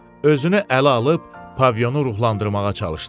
Özünü ələ alıb Pavionu ruhlandırmağa çalışdı.